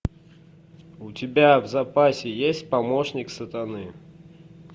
у тебя в запасе есть помощник сатаны